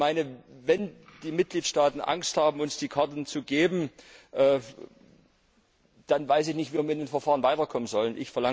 Ich meine, wenn die Mitgliedstaaten Angst haben, uns die Karten zu geben, dann weiß ich nicht mehr, wie wir in dem Verfahren weiterkommen sollen.